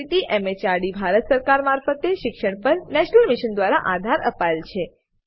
જેને ICT MHRD Bharat સરકાર મારફતે શિક્ષણ પર નેશનલ મિશન દ્વારા આધાર અપાયેલ છે